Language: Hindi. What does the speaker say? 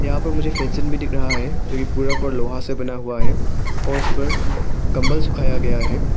यहां पर मुझे फेंसिंग भी दिख रहा है जो कि पूरा पूरा लोहा से बना हुआ है और उस पर कंबल सुखाया गया है।